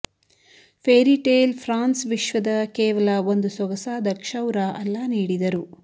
fairy tale France ವಿಶ್ವದ ಕೇವಲ ಒಂದು ಸೊಗಸಾದ ಕ್ಷೌರ ಅಲ್ಲ ನೀಡಿದರು